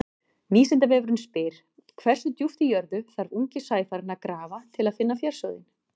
Vísindavefurinn spyr: Hversu djúpt í jörðu þarf ungi sæfarinn að grafa til að finna fjársjóðinn?